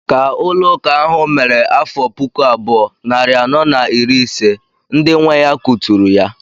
Ka ụlọ ụka ahụ mere afọ puku abụọ, narị anọ na iri ise, ndị nwe ya kuturu ya.